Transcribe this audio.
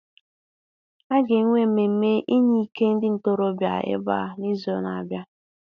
A ga-enwe mmemme inye ike ndị ntorobịa ebe a n'izu na-abịa.